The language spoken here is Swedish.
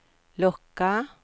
locka